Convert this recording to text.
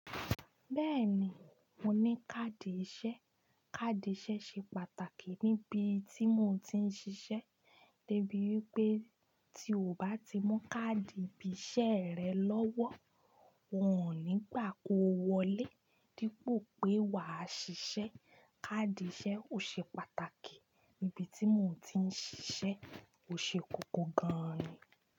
Bẹ́ẹ̀ni, mo ní káàdì ìṣe. Káàdì ìṣe ṣe pàtàkì níbi tí mo ti ń ṣiṣẹ́, debi wípé tí o bá ti mú káàdì ìbíṣẹ́ rẹ lọ́wọ́, wọn ò ní gbà kó wọlé. Dípò pé wa ṣiṣẹ́, káàdì ìṣe ò ṣe pàtàkì níbi tí mò ń ti ń ṣiṣẹ́, ó ṣe kókó gan-an ni.